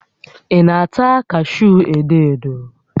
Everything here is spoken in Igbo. Ị na-ata kashuu edo edo?